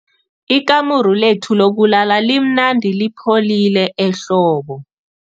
Ikamuru lethu lokulala limnandi lipholile ehlobo.